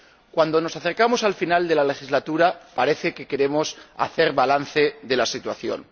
Cuando nos acercamos al final de la legislatura parece que queremos hacer balance de la situación.